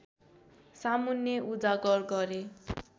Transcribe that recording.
सामुन्ने उजागर गरे